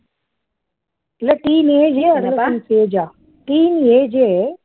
இல்ல teen ஏ adolescence age ஆ teen age ஏ